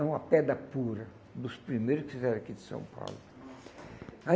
É uma pedra pura, dos primeiros que fizeram aqui de São Paulo. Aí